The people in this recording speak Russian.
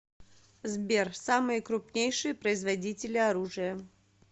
сбер самые крупнейшие производители оружия